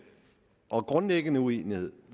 og grundlæggende uenighed